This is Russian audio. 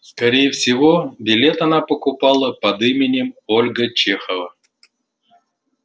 скорее всего билет она покупала под именем ольга чехова